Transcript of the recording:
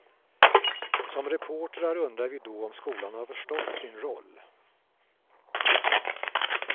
Som reportrar undrar vi då om skolan har förstått sin roll.